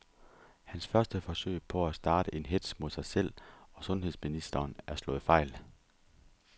Hans første forsøg på at starte en hetz mod sig selv og sundheds ministeren er slået fejl.